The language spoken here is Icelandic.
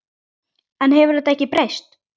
En hefur þetta ekki breyst?